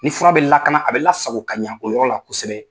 Ni fura bɛ lakana, a bɛ lasago o yɔrɔ la kosɛbɛ.